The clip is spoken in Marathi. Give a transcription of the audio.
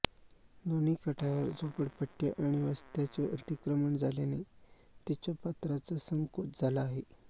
दोन्ही काठांवर झोपडपट्ट्या आणि वस्त्यांचे अतिक्रमण झाल्याने तिच्या पात्राचा संकोच झाला आहे